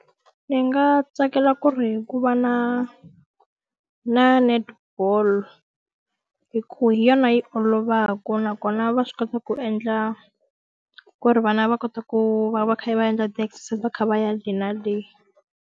Ni nga tsakela ku ri ku va na na netball hi ku hi yona yi olovaka nakona va swi kota ku endla, ku ri vana va kota ku va va kha va endla ti-exercise va kha va ya le na le.